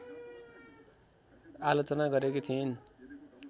आलोचना गरेकी थिइन्।